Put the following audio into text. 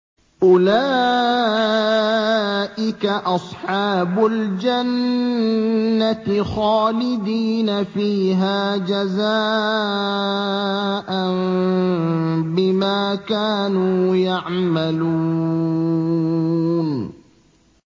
أُولَٰئِكَ أَصْحَابُ الْجَنَّةِ خَالِدِينَ فِيهَا جَزَاءً بِمَا كَانُوا يَعْمَلُونَ